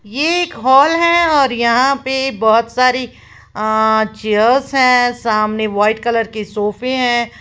ये एक हॉल है और यहां पे बहोत सारी अं चेयर्स हैं सामने व्हाइट कलर के सोफे हैं।